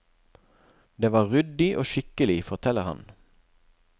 Det var ryddig og skikkelig, forteller han.